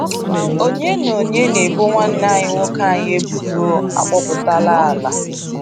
Onye na Onye na ebo nwanne anyị nwoke anyị ebubo akpọpụtala ala…